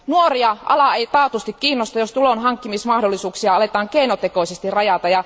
Nuoria ala ei taatusti kiinnosta, jos tulonhankkimismahdollisuuksia aletaan keinotekoisesti rajata.